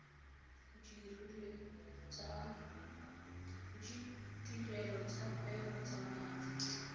ditirelo tsa kgwebo tsa maatla